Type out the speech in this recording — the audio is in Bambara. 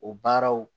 O baaraw